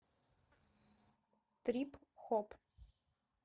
трип хоп